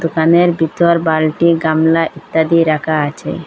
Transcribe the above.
দোকানের ভিতর বালটি গামলা ইত্যাদি রাখা আছে।